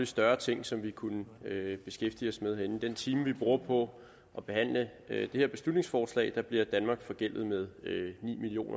større ting som vi kunne beskæftige os med herinde den time vi bruger på at behandle det her beslutningsforslag bliver danmark forgældet med ni million